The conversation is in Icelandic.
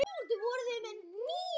Það sé þó ekki öruggt.